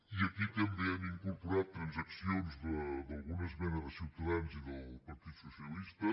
i aquí també hem incorporat transaccions d’alguna esmena de ciutadans i del partit socialista